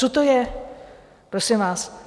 Co to je, prosím vás?